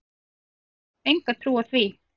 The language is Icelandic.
Nei ég hef enga trú á því.